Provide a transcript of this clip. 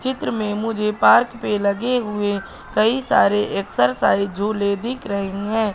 चित्र में मुझे पार्क पे लगे हुए कई सारे एक्सरसाइज झूले दीख रहे हैं।